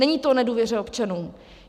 Není to o nedůvěře občanů.